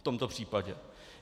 V tomto případě.